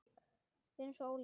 Við erum svo ólík.